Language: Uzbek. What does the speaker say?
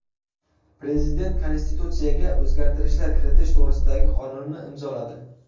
Prezident Konstitutsiyaga o‘zgartishlar kiritish to‘g‘risidagi qonunni imzoladi.